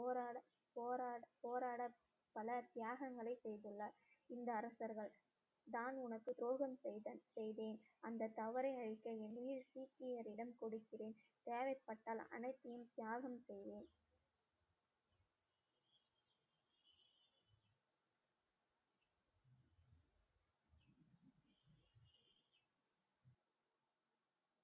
போராட போராட போராட பலர் தியாகங்களை செய்துள்ளார் இந்த அரசர்கள் தான் உனக்கு துரோகம் செய்தா~ செய்தேன் அந்த தவறை அழிக்க என்னையே சீக்கியரிடம் கொடுக்கிறேன் தேவைப்பட்டால் அனைத்தையும் தியாகம் செய்வேன்.